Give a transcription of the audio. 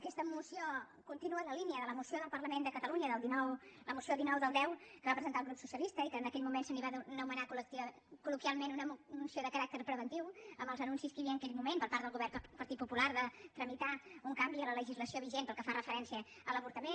aquesta moció continua en la línia de la moció del parlament de catalunya la moció dinou x que va presentar el grup socialista i que en aquell moment se la va anomenar col·loquialment una moció de caràcter preventiu amb els anuncis que hi havia en aquell moment per part del govern del partit popular de tramitar un canvi a la legislació vigent pel que fa referència a l’avortament